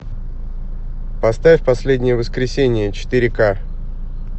поставь последнее воскресенье четыре ка